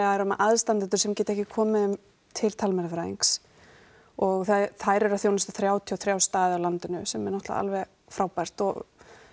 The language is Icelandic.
eru með aðstandendur sem geta ekki komið þeim til talmeinafræðings og þær eru að þjónusta þrjátíu og þrjá staði á landinu sem er náttúrulega alveg frábært og